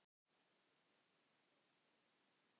Einnig erindi í útvarp.